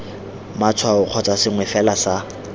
matshwao kgotsa sengwe fela sa